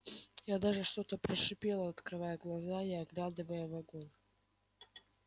я даже что-то прошипел открывая глаза и оглядывая вагон